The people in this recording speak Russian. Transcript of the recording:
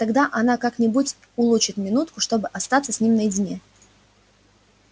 тогда она как-нибудь улучит минутку чтобы остаться с ним наедине